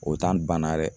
O banna dɛ